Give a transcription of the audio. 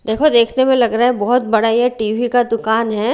देखो देखते हुए लग रहा है बहुत बड़ा ये टीवी का दुकान है।